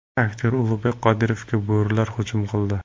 Aktyor Ulug‘bek Qodirovga bo‘rilar hujum qildi.